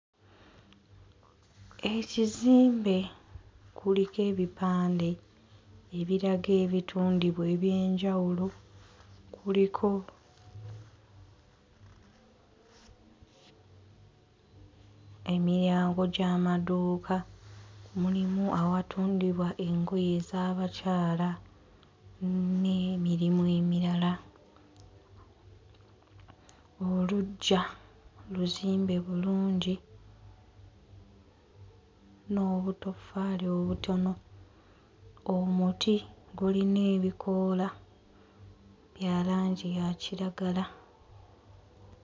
Ekizimbe kuliko ebipande ebiraga ebitundibwa eby'enjawulo. Kuliko emiryango gy'amaduuka, mulimu awatundibwa engoye ez'abakyala n'emirimu emirala. Oluggya luzimbe bulungi n'obutoffaali obutono. Omuti gulina ebikoola bya langi ya kiragala.